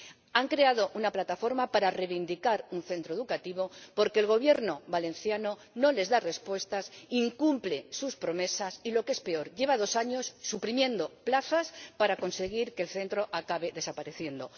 Han creado una plataforma para reivindicar un centro educativo porque el Gobierno valenciano no les da respuestas, incumple sus promesas y, lo que es peor, lleva dos años suprimiendo plazas para conseguir que el centro acabe desapareciendo.